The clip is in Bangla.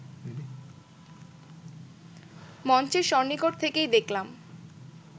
মঞ্চের সন্নিকট থেকেই দেখলাম